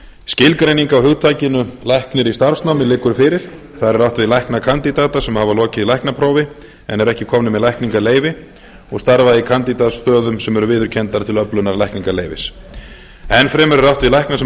skilgreining á hugtakinu læknir í starfsnámi liggur fyrir þar er átt við læknakandídata sem hafa lokið læknaprófi en eru ekki komnir með lækningaleyfi og starfa í kandídatsstöðum sem eru viðurkenndar til öflunar lækningaleyfis enn fremur er átt við lækna sem starfa